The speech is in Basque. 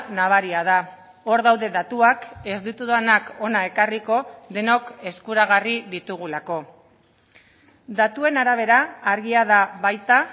nabaria da hor daude datuak ez ditudanak hona ekarriko denok eskuragarri ditugulako datuen arabera argia da baita